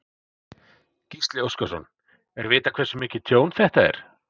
Gísli Óskarsson: Er vitað hversu mikið tjón þetta er?